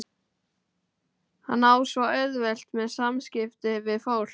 Hann á svo auðvelt með samskipti við fólk.